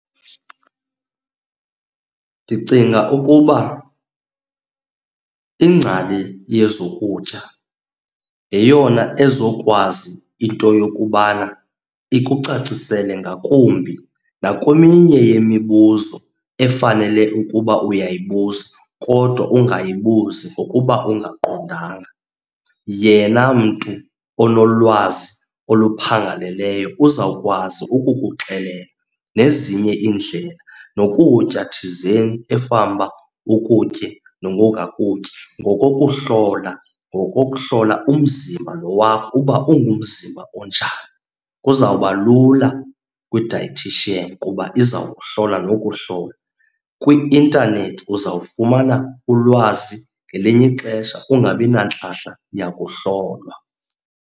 Ndicinga ukuba ingcali yezokutya yeyona ezokwazi into yokubana ikucacisela ngakumbi nakweminye yemibuzo efanele ukuba uyibuza kodwa ungayibuyizi ngokuba ungaqondanga. Yena mntu onolwazi oluphangaleleyo uzawukwazi ukukuxelela nezinye iindlela. Nokutya thizeni efanuba ukutye nokungakutyi ngokokuhlola ngokokuhlola umzimba lo wakho uba ungumzimba onjani. Kuzawuba lula kwi-dietician kuba izawukuhlola nokuhlola. Kwi-intanethi uzawufumana ulwazi, ngelinye ixesha ungabi nantlahla yakuhlolwa.